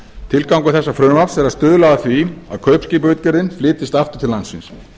tilgangur þessa frumvarps er að stuðla að því að kaupskipaútgerðin flytjist aftur til landsins